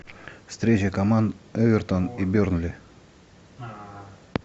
встреча команд эвертон и бернли